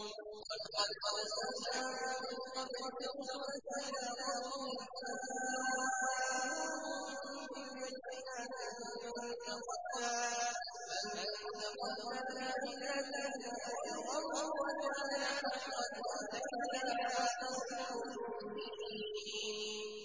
وَلَقَدْ أَرْسَلْنَا مِن قَبْلِكَ رُسُلًا إِلَىٰ قَوْمِهِمْ فَجَاءُوهُم بِالْبَيِّنَاتِ فَانتَقَمْنَا مِنَ الَّذِينَ أَجْرَمُوا ۖ وَكَانَ حَقًّا عَلَيْنَا نَصْرُ الْمُؤْمِنِينَ